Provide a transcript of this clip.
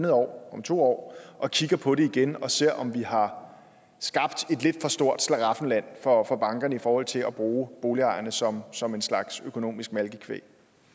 år om to år og kigger på det igen og ser på om vi har skabt et lidt for stort slaraffenland for for bankerne i forhold til at bruge boligejerne som som en slags økonomisk malkekvæg